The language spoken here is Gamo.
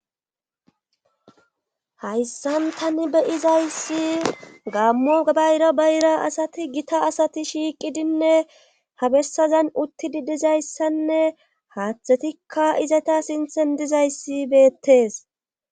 hayssan tani be izayssi gammo bayra bayra asati gita asati shiiqidinne ha bessazan uttidi dizayssanne haaththetikka izata sinthen dizayssi beettees